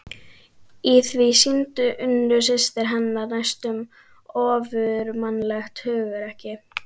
Í því sýndi Unnur systir hennar næstum ofurmannlegt hugrekki.